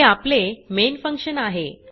हे आपले main function आहे